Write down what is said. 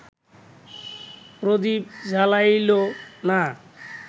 প্রদীপ জ্বালাইল না